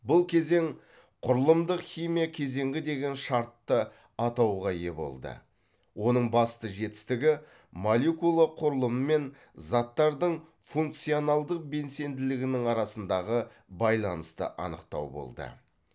бұл кезең құрылымдық химия кезеңі деген шартты атауға ие болды оның басты жетістігі молекула құрылымы мен заттардың функционалдық белсенділігінің арасындағы байланысты анықтау болды